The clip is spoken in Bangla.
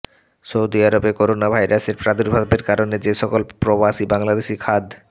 সৌদি আরবে করোনাভাইরাসের প্রাদুর্ভাবের কারণে যেসকল প্রবাসী বাংলাদেশি খাদ